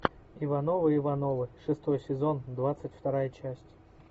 ивановы ивановы шестой сезон двадцать вторая часть